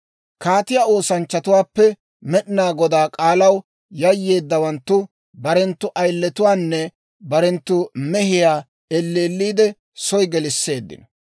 Kaatiyaa oosanchchatuwaappe Med'inaa Godaa k'aalaw yayyeeddawanttu barenttu ayiletuwaanne barenttu mehiyaa elleelliidde soy geliseeddino.